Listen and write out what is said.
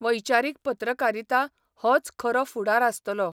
वैचारीक पत्रकारिता 'होच खरो फुडार आसतलो.